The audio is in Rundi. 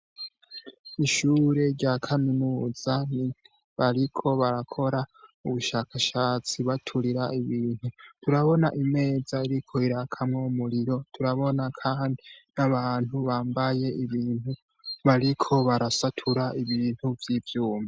Ishure rya kaminuza bariko barakora ubushakashatsi baturira ibintu, turabona imeza iriko irakamwo umuriro, turabona kandi n'abantu bambaye ibintu bariko barasatura ibintu vy'ivyuma.